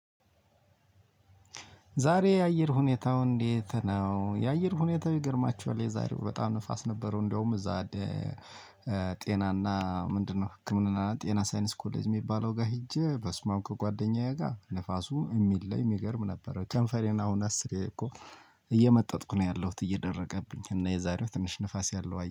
ዛሬ የአየር ሁኔታው እንዴት ነው? የአየር ሁኔታው ይገርማችኋል የዛሬው በጣም ንፋስ ነበረው። እንደውም እዛ ጤናና ምንድነው? ህክምና ጤና ሳይንስ ኮሌጅ የሚባለው ጋር ሄጄ በስማም ከጓደኛዬ ጋር ንፋሱ እሚለይ እሚገርም ነበረ። ከንፈሬን አሁን አስር እኮ እየመጠጥኩ ነው ያለሁት። እየደረቀብኝ እና የዛሬው ትንሽ ንፋስ ያለው